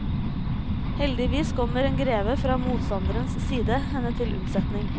Heldigvis kommer en greve fra motstandernes side henne til unnsetning.